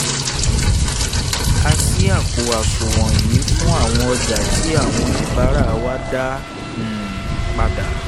a ṣí àpò àṣùwọ̀n yìí fún àwọn ọjà tí àwọn oníbàárà wa dá um padà